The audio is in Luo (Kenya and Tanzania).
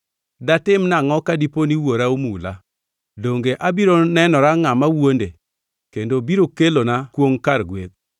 Datim nangʼo ka diponi wuora omula? Donge abiro nenora ngʼama wuonde kendo biro kelona kwongʼ kar gweth.”